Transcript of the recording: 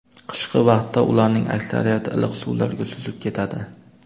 Qishki vaqtda ularning aksariyati iliq suvlarga suzib ketadi.